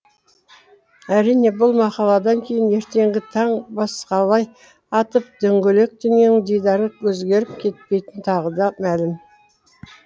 әрине бұл мақаладан кейін ертеңгі таң басқалай атып дөңгелек дүниенің дидары өзгеріп кетпейтіні тағы да мәлім